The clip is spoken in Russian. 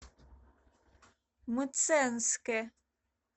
мценске